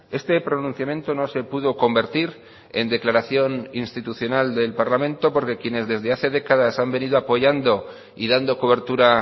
este pronunciamiento no se pudo convertir en declaración institucional del parlamento porque quienes desde hace décadas han venido apoyando y dando cobertura